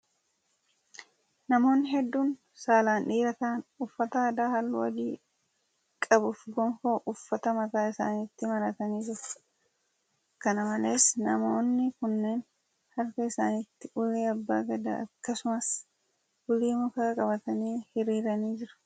Namoonni hedduun saalan dhiira ta'an, uffata aadaa halluu adii qabuu fi gonfoo uffataa mataa isaanitti maratanii jiru. Kana malees namoonni kunneen, harka isaanitti ulee abbaa gadaa akkasumas ulee mukaa qabatanii hiriiranii jiru.